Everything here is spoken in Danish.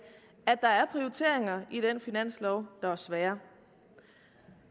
at der er prioriteringer i den finanslov der er svære